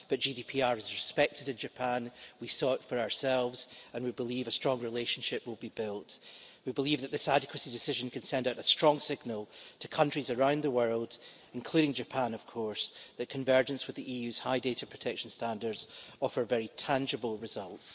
The GDPR is respected in Japan we saw it for ourselves and we believe a strong relationship will be built. We believe that this adequacy decision can send out a strong signal to countries around the world, including Japan of course, that convergence with the EU's high data protection standards offers very tangible results.